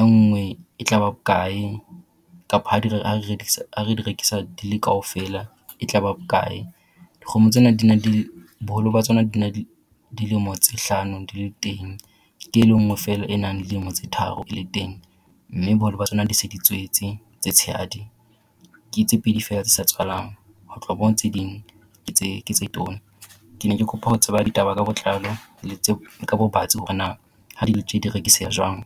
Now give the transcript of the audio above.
enngwe e tla ba bokae kapa ha re di rekisa di le kaofela, e tla ba bokae? Dikgomo tsena di na di na le boholo ba tsona di na le dilemo tse hlano di le teng ke e lengwe feela enang le dilemo tse tharo e le teng. Mme boholo ba tsona di se di tswetse tse tshehadi. Ke tse pedi feela tse sa tswalang ho tloha moo tse ding ke tse ke tse tona. Kene ke kopa ho tseba ditaba ka botlalo ka bobatsi hore na ha di le tje di rekiseha jwang.